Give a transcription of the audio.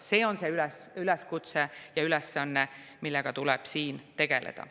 See on see üleskutse ja ülesanne, millega tuleb siin tegeleda.